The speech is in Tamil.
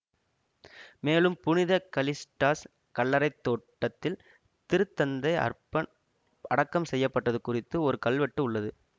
மேலும் புனித கலிஸ்டாஸ் கல்லறை தோட்டத்தில் திருத்தந்தை அர்பன் அடக்கம் செய்ய பட்டது குறித்து ஒரு கல்வெட்டு உள்ளது